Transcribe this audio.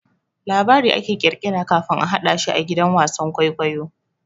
Labari ake kirkira kafin a hadashi a gidan wasan kwaikwayo.